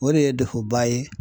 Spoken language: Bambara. O de ye ba ye